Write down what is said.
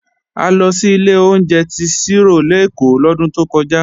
A lọ sí ilé oúnjẹ tí Ṣírò lèkó lọ́dún tó kọjá